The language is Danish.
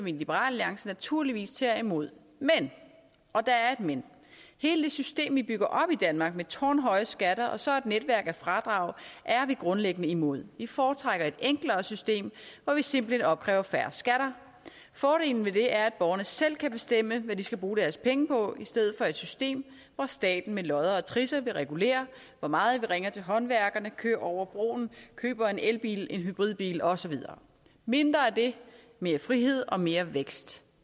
i liberal alliance naturligvis tager imod men og der er et men hele det system vi bygger op i danmark med tårnhøje skatter og så et netværk af fradrag er vi grundlæggende imod vi foretrækker et enklere system hvor vi simpelt hen opkræver færre skatter fordelen ved det er at borgerne selv kan bestemme hvad de skal bruge deres penge på i stedet for et system hvor staten med lodder og trisser vil regulere hvor meget vi ringer til håndværkerne kører over broen køber en elbil køber en hybridbil og så videre mindre af det mere frihed og mere vækst